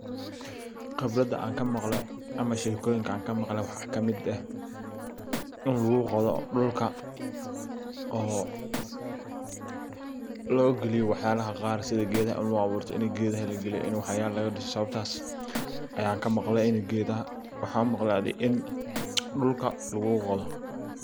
Khibrada an kaamqle ama shekoyinka an kamaqle waxa ka mid eh in lagu qodho dhulka logiliyo wax yalaha qaar sidha gedaha lagu aburto ini gedaha lagaliyo, ini waxyala laga dhiso sababtas ayan kamaqle ini gedaha wax ogade ini dhulka lagu qodo.